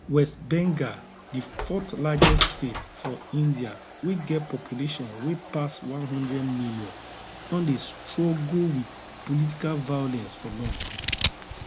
west bengal di fourthlargest state for india wey get population wey pass one hundred million don dey struggle wit political violence for long